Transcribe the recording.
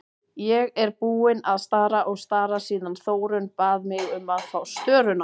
Ég er búin að stara og stara síðan Þórunn bað mig um að fá störuna.